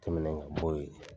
Tɛmɛnen ka b'o yen